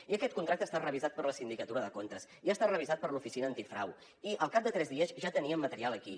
i aquest contracte ha estat revisat per la sindicatura de comptes i ha estat revisat per l’oficina antifrau i al cap de tres dies ja tenien material aquí